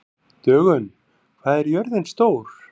Dögun, hvað er jörðin stór?